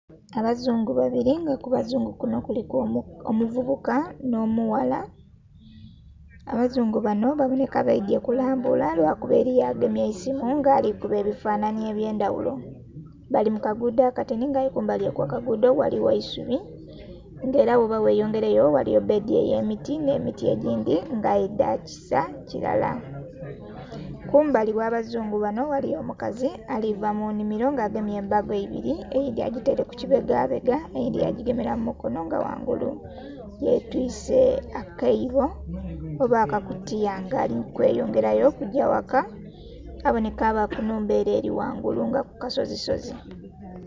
Abazungu babili nga ku bazungu kuno kuliku omuvubuka nh'omughala. Abazungu banho babonheka baidhye kulambula lwakuba eliyo agemye eisimu nga alikuba ebifanhanhi eby'endhaghulo. Bali mu kaguudho akatini nga aye kumbali okw'akaguudho ghaligho eisubi nga era bwoba gheyongeileyo ghaligho bbeedi ey'emiti, nh'emiti egindhi nga aye dhaakisa kirala. Kumbali ogh'abazungu banho ghaligho omukazi ali va mu nnhimilo nga agemye embago ibili eyindhi agitaile ku kibegabega eyindhi yagigemela mu mukono nga ghangulu yetwise akaibo oba akakutiya nga ali mukweyongerayo okugya ghaka. Abonheka aba ku nnhumba ele eli ghangulu nga ku kasozisozi.